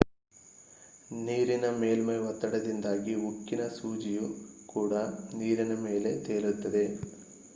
ನೀರಿನ ಮೇಲ್ಮೈ ಒತ್ತಡದಿಂದಾಗಿ ಉಕ್ಕಿನ ಸೂಜಿಯೂ ಕೂಡ ನೀರಿನ ಮೇಲೆ ತೇಲುತ್ತದೆ